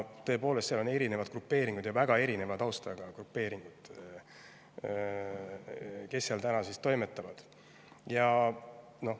Tõepoolest, seal on erinevad grupeeringud ja väga erineva taustaga grupeeringud, kes seal toimetavad.